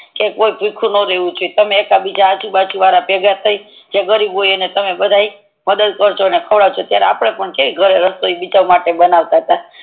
કે કોઈ તીખું નો લેવું જોઈ તમે એક બીજા આજુ બાજુ વાડા ભેગા થઈ જે ગરીબ હોય ઈ બધા ને ખવાદવજો ને મદદ કરજો અત્યારે આપડે છે ઘર ને બીજા માટે બનવતા તા